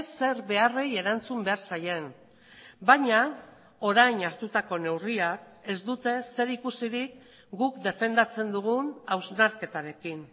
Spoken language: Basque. zer beharrei erantzun behar zaien baina orain hartutako neurriak ez dute zerikusirik guk defendatzen dugun hausnarketarekin